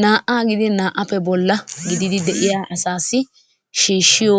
Naa"aa gidin naa"appe bolla gidid de'iyaa asaassi shiishshiyo